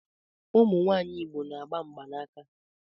Ụmụ nwanyị Igbo na-agba mgbanaka